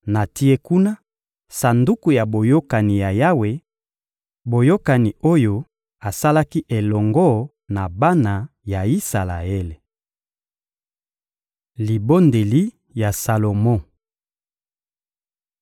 Natie kuna Sanduku ya Boyokani ya Yawe, boyokani oyo asalaki elongo na bana ya Isalaele. Libondeli ya Salomo (1Ba 8.22-53)